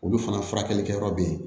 Olu fana furakɛli kɛyɔrɔ be yen